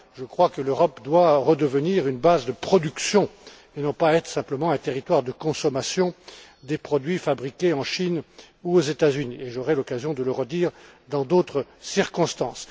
Je crois que l'Europe doit redevenir une base de production et non pas être simplement un territoire de consommation des produits fabriqués en Chine ou aux États Unis et j'aurai l'occasion de le redire dans d'autres circonstances.